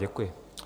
Děkuji.